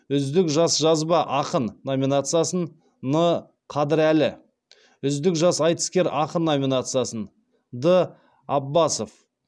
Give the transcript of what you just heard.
үздік жас жазба ақын номинациясын н қадірәлі үздік жас айтыскер ақын номинациясын д апбасов